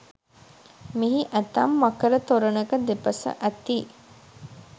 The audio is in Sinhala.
මෙහි ඇතැම් මකර තොරණක දෙපස ඇති